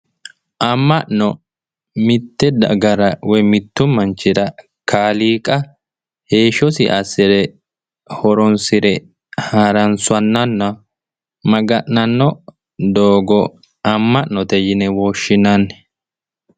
Amma'no mitte dagara woyi mittu manchira kaaliiqa heeshshosi assire horonsire harunsannonna maga'nanno doogo amma'note yine woshshinanni